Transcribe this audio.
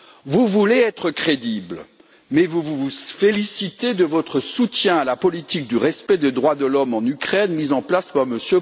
Vous voulez être crédible, mais vous vous félicitez de votre soutien à la politique du respect des droits de l'homme en Ukraine mise en place par M.